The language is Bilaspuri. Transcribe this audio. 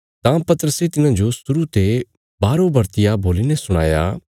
तां पतरसे तिन्हांजो शुरु ते बारोबरतिया बोलीने सुणाया